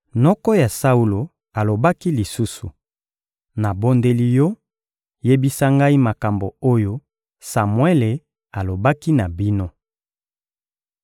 Noko ya Saulo alobaki lisusu: — Nabondeli yo, yebisa ngai makambo oyo Samuele alobaki na bino.